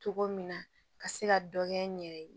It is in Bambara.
Cogo min na ka se ka dɔ kɛ n yɛrɛ ye